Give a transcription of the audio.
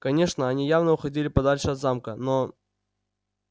конечно они явно уходили подальше от замка но